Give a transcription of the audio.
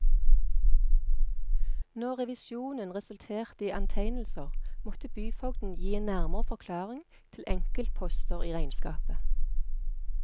Når revisjonen resulterte i antegnelser, måtte byfogden gi en nærmere forklaring til enkeltposter i regnskapet.